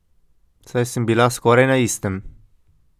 Saj sem bila skoraj na istem.